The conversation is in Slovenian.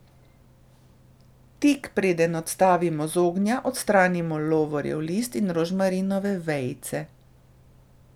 Tik preden odstavimo z ognja odstranimo lovorjev list in rožmarinove vejice.